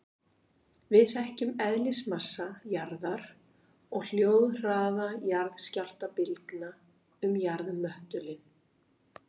Við þekkjum eðlismassa jarðar og hljóðhraða jarðskjálftabylgna um jarðmöttulinn.